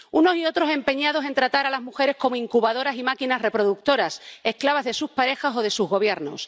Unos y otros empeñados en tratar a las mujeres como incubadoras y máquinas reproductoras, esclavas de sus parejas o de sus gobiernos.